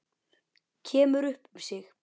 Kemur upp um sig.